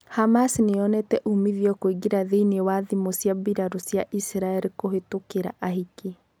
Hamas niyonete umithio kũingira thiinie wa thimũ cia mbirarũ cia Israel kũhitũkira ahiki.